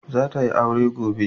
Za ta yi aure gobe.